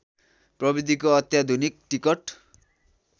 प्रविधिको अत्याधुनिक टिकट